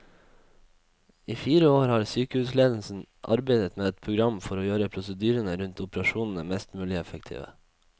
I fire år har sykehusledelsen arbeidet med et program for å gjøre prosedyrene rundt operasjonene mest mulig effektive.